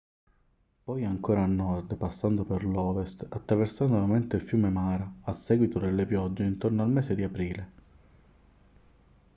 poi ancora a nord passando per l'ovest attraversando nuovamente il fiume mara a seguito delle piogge intorno al mese di aprile